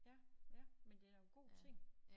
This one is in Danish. Ja ja men det da en god ting